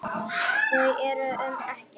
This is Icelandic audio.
Þau eru um Ekkert.